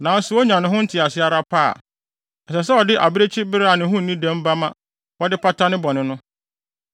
Nanso onya te ne ho ase ara pɛ a, ɛsɛ sɛ ɔde abirekyibere a ne ho nni dɛm ba ma wɔde pata ne bɔne no.